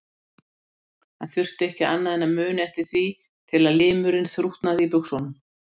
Hann þurfti ekki annað en að muna eftir því til að limurinn þrútnaði í buxunum.